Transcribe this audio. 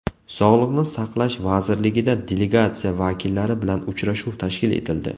Sog‘liqni saqlash vazirligida delegatsiya vakillari bilan uchrashuv tashkil etildi.